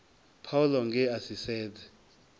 paulo nge a si sedze